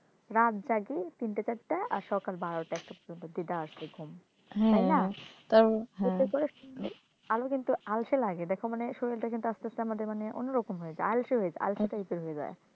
রাত জাগি তিনটে চারটে আর সকাল বারটা একটা পর্যন্ত দেদার দি ঘুম তাই না উঠে পড়ে আরো কিন্তু আলসে লাগে দেখো মানে শরীরটা কিন্তু আস্তে আস্তে আমাদের মানে অন্যরকম হয়ে যায় আলসে হয়ে যায় আলসে type এর হয়ে যায়